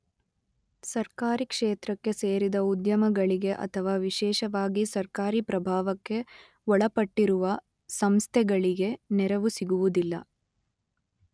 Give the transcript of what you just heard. ಸರ್ಕಾರಿ ಕ್ಷೇತ್ರಕ್ಕೆ ಸೇರಿದ ಉದ್ಯಮಗಳಿಗೆ ಅಥವಾ ವಿಶೇಷವಾಗಿ ಸರ್ಕಾರಿ ಪ್ರಭಾವಕ್ಕೆ ಒಳಪಟ್ಟಿರುವ ಸಂಸ್ಥೆಗಳಿಗೆ ನೆರವು ಸಿಗುವುದಿಲ್ಲ.